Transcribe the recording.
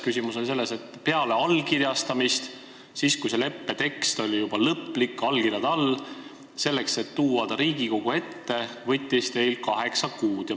Küsimus oli selles, et peale allkirjastamist, kui leppe tekst oli lõplik ja allkirjad olid all, võttis see, et tuua see lepe Riigikogu ette, teil kaheksa kuud.